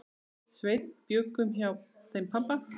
Sveinn bjuggum hjá þeim pabba.